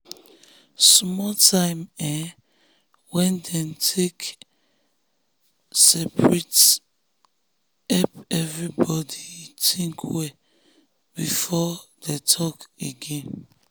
small time um wey dem take separate help everybody think well before talk again. talk again.